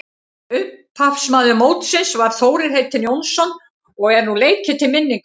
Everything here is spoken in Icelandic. Upphafsmaður mótsins var Þórir heitinn Jónsson og er nú leikið til minningar um hann.